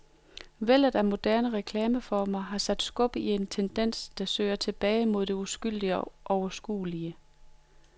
Vældet af moderne reklameformer har sat skub i en tendens, der søger tilbage mod det uskyldige og overskuelige.